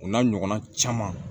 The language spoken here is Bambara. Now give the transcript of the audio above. O n'a ɲɔgɔnna caman